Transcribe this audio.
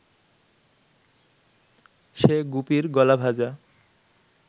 সে গুপির গলা ভাঁজা